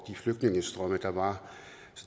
flygtningestrømme der var